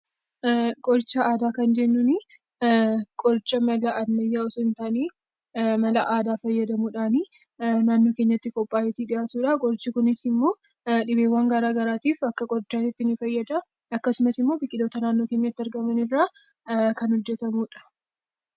Qoricha aadaa kan jennuun, qoricha mala ammayyaa osoo hin taane, mala aadaa fayyadamuudhaan naannoo keenyatti qophaa'ee dhihaatudha. Qorichi kunis immoo dhibeewwaan garaagaraatiif akka qorichatti ni fayyada. Biqilootaa naannootti argaman irraa kan qophaa'udha.